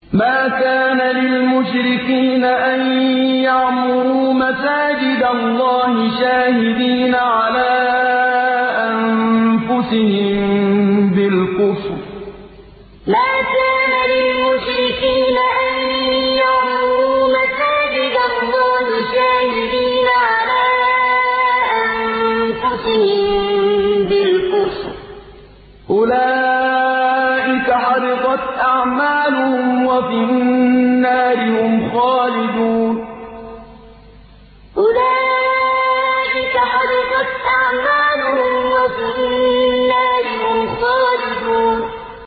مَا كَانَ لِلْمُشْرِكِينَ أَن يَعْمُرُوا مَسَاجِدَ اللَّهِ شَاهِدِينَ عَلَىٰ أَنفُسِهِم بِالْكُفْرِ ۚ أُولَٰئِكَ حَبِطَتْ أَعْمَالُهُمْ وَفِي النَّارِ هُمْ خَالِدُونَ مَا كَانَ لِلْمُشْرِكِينَ أَن يَعْمُرُوا مَسَاجِدَ اللَّهِ شَاهِدِينَ عَلَىٰ أَنفُسِهِم بِالْكُفْرِ ۚ أُولَٰئِكَ حَبِطَتْ أَعْمَالُهُمْ وَفِي النَّارِ هُمْ خَالِدُونَ